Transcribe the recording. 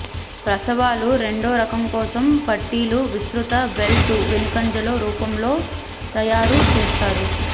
ప్రసవాలు రెండో రకం కోసం పట్టీలు విస్తృత బెల్ట్ వెనుకంజలో రూపంలో తయారు చేస్తారు